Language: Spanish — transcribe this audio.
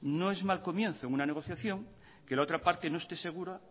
no es mal comienzo en una negociación que la otra parte no esté segura